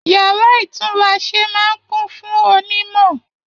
Yàrá itunrase máa n kún fún ọ onimọ.